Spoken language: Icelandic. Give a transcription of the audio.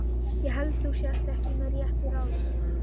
Ég held þú sért ekki með réttu ráði.